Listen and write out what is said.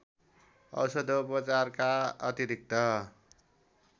औषधोपचारका अतिरिक्त